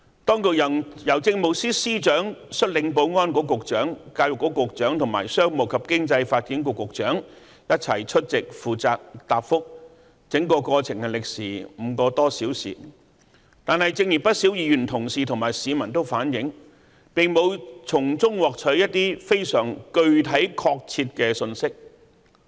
當局由政務司司長率領保安局局長、教育局局長和商務及經濟發展局局長一起出席負責答覆，整個過程歷時5個多小時，但正如不少議員同事和市民反映，並沒法從中獲取一些非常具體確切的信息。